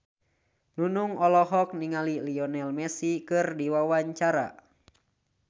Nunung olohok ningali Lionel Messi keur diwawancara